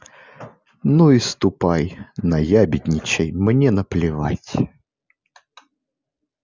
ну и ступай наябедничай мне наплевать